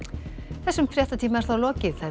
þessum fréttatíma er lokið